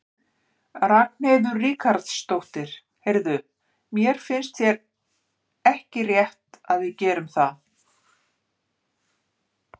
Ragnheiður Ríkharðsdóttir: Heyrðu, finnst þér ekki rétt að við gerum það?